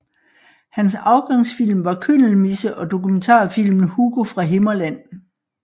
Hans afgangsfilm var Kyndelmisse og dokumentarfilmen Hugo fra Himmerland